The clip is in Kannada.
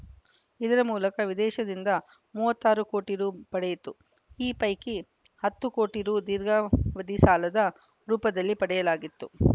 ಇದರ ಮೂಲಕ ವಿದೇಶದಿಂದ ಮೂವತ್ತ್ ಆರು ಕೋಟಿ ರು ಪಡೆಯಿತು ಈ ಪೈಕಿ ಹತ್ತು ಕೋಟಿ ರು ದೀರ್ಘಾವಧಿ ಸಾಲದ ರೂಪದಲ್ಲಿ ಪಡೆಯಲಾಗಿತ್ತು